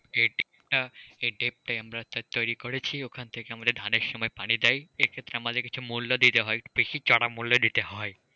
এই deep টা আমার তৈরি করেছি, ওখান থেকে আমাদের ধানের সময় পানি দেয়, এক্ষেত্রে আমাদের কিছু মূল্য দিতে হয় বেশি চড়া মূল্য দিতে হয়।